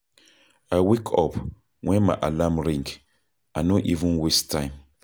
I wake up wen my alarm ring, I no even waste time.